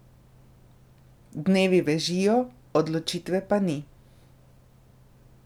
Dnevi bežijo, odločitve pa ni.